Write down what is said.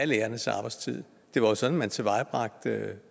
lærernes arbejdstid det var jo sådan man tilvejebragte